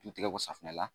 Du tigɛko safunɛ la